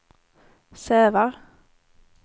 Sävar